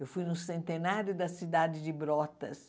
Eu fui no centenário da cidade de Brotas.